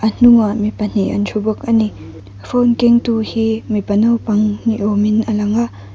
hnungah mi pahnih an thu bawk a ni phone kengtu hi mipa naupang ni awmin a langa.